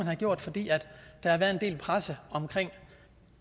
har gjort fordi der har været en del i pressen om